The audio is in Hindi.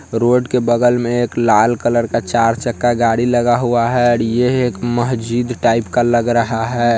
रोड के बगल में एक लाल कलर का चार चक्का गाड़ी लगा हुआ है| यह एक मस्जिद टाइप का लग रहा है।